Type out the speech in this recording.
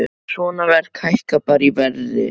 Svona verk hækka bara í verði, sagði hann.